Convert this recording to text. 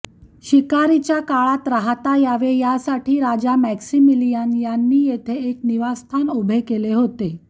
शिकारीच्या काळात राहता यावे यासाठी राजा मॅक्सिमिलियान यांनी येथे एक निवासस्थान उभे केले होते